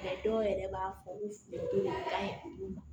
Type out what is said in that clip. dɔw yɛrɛ b'a fɔ ko to ka d'u ma